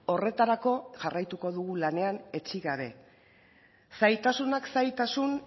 horretarako jarraituko dugu lanean etsi gabe zailtasuna zailtasun